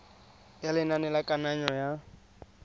ya lenane la kananyo ya